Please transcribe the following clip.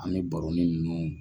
An b'i baro ni nunnu.